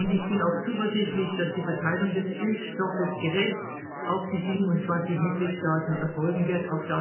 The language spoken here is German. Und ich bin auch zuversichtlich, dass die Verteilung des Impfstoffes auf die 27 Mitgliedstaaten gerecht erfolgen wird.